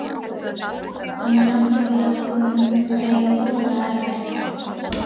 Hann er náttúrlega búinn að eiga voðalega erfitt.